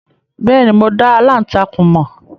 Bẹ́ẹ̀ni, mo dá aláǹtakùn mọ̀.